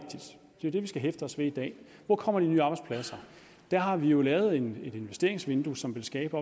jo det vi skal hæfte os ved i dag hvor kommer de nye arbejdspladser der har vi jo lavet et investeringsvindue som vil skabe